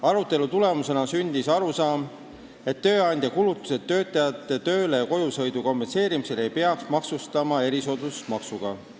Arutelu tulemusena sündis arusaam, et tööandja kulutusi töötajate tööle- ja kojusõidu kompenseerimisel ei peaks maksustama erisoodustusmaksuga.